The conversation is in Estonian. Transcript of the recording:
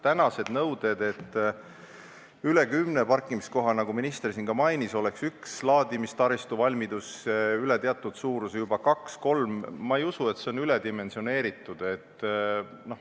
Tänased nõuded, et üle kümne parkimiskoha, nagu minister siin ka mainis, ja üks laadimistaristuvalmidus, üle teatud suuruse oleks juba kaks või kolm – ma ei usu, et see on üledimensioneeritud.